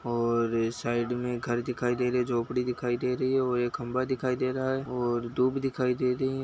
और यह साइड में घर दिखाई रही है झोपड़ी दिखाई दे रही है और यह खम्बा दिखाई दे रहा है और धूप दिखाई दे रही है।